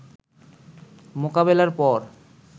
মোকাবেলার পর